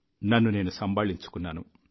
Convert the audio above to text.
నన్ను నేను సంబాళించుకున్నాను